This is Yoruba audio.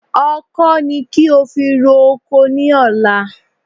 Ọkọ́ ni kí o fi ro oko ní ọ̀la